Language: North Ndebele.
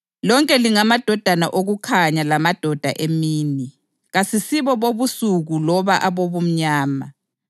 Lonke lingamadodana okukhanya lamadodana emini. Kasisibo bobusuku loba abobumnyama.